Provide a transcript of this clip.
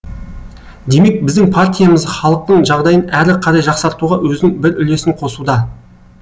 демек біздің партиямыз халықтың жағдайын әрі қарай жақсартуға өзінің бір үлесін қосуда